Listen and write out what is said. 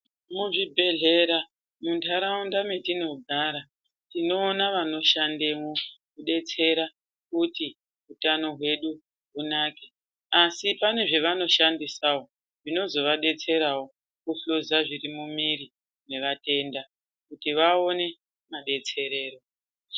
Muzvibhedhlera munharaunda metinogara tinoona vanoshandemwo kudetsera kuti utano hwedu hunake asi pane zvavanoshandisawo zvinozovadetserawo kuhluza zviri mumwiri mwevatenda kuti vaone madetserero.